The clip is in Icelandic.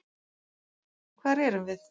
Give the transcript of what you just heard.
Hvar erum við?